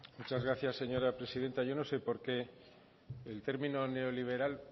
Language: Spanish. muchas gracias señora presidenta yo no sé por qué el término neoliberal